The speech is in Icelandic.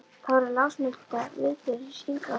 Þær voru lögmálsbundnir viðburðir í hringrás árstíðanna.